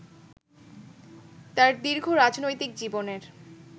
তাঁর দীর্ঘ রাজনৈতিক জীবনের